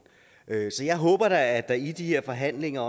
så jeg håber da at der i de her forhandlinger